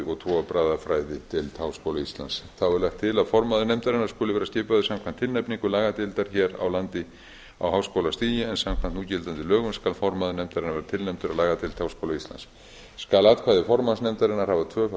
og trúarbragðafræðideild háskóla íslands þá er lagt til að formaður nefndarinnar skuli vera skipaður samkvæmt tilnefningu lagadeildar hér á landi á háskólastigi en samkvæmt núgildandi lögum skal formaður nefndarinnar vera tilnefndur af lagadeild háskóla íslands skal atkvæði formanns nefndarinnar hafa